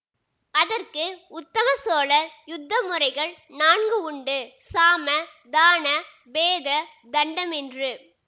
அதற்கு உத்தம சோழர் யுத்த முறைகள் நான்கு உண்டு சாம தான பேத தண்டம் என்று